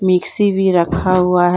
Mixie भी रखा हुआ है।